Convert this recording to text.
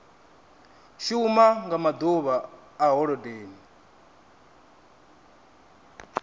shuma nga maḓuvha a holodeni